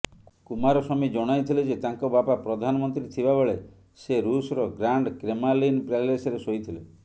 କୁମାରସ୍ବାମୀ ଜଣାଇଥିଲେ ଯେ ତାଙ୍କ ବାପା ପ୍ରଧାନମନ୍ତ୍ରୀ ଥିବାବେଳେ ସେ ରୁସର ଗ୍ରାଣ୍ଡ କ୍ରେମାଲିନ ପ୍ୟାଲେସରେ ଶୋଇଥିଲେ